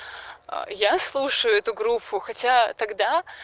я слушаю эту группу хотя тогда